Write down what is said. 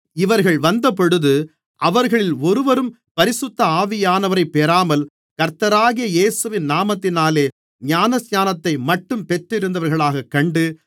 இவர்கள் வந்தபொழுது அவர்களில் ஒருவரும் பரிசுத்த ஆவியானவரைப் பெறாமல் கர்த்தராகிய இயேசுவின் நாமத்தினாலே ஞானஸ்நானத்தைமட்டும் பெற்றிருந்தவர்களாகக் கண்டு